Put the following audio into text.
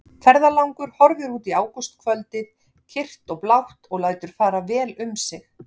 Ferðalangur horfir út í ágústkvöldið kyrrt og blátt og lætur fara vel um sig.